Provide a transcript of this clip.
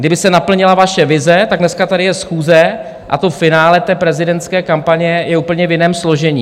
Kdyby se naplnila vaše vize, tak dneska tady je schůze a to finále té prezidentské kampaně je úplně v jiném složení.